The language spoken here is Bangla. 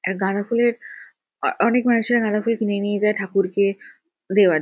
গাঁদাফুলের আ অনেক মানুষরা গাঁদাফুল কিনে নিয়ে যায় ঠাকুরকে দেওয়ার --